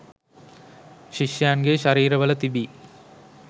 ශිෂ්‍යයන්ගේ ශරීරවල තිබී